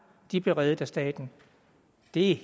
blev reddet af staten det